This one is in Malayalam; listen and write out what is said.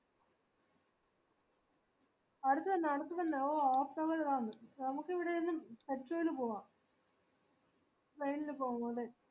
അടുത്ത് തന്നെ അടുത്ത് തന്നെ ഒ ഓട്ടമിൽ വാ നീ നമുക്ക് ഇവ്ട്ന്ന് pet show ല് പോക train ല് പോവൂലെ